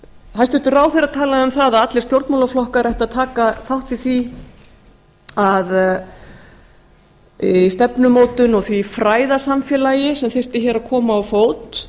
hæstvirtur ráðherra talaði um það að allir stjórnmálaflokkar ættu að taka þátt í stefnumótun og því fræðasamfélagi sem þyrfti hér að koma á fót